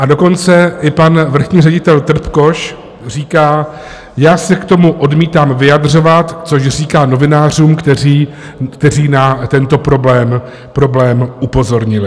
A dokonce mi pan vrchní ředitel Trpkoš říká: Já se k tomu odmítám vyjadřovat, což říkal novinářům, kteří na tento problém upozornili.